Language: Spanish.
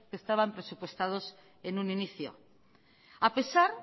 que estaban presupuestados en un inicio a pesar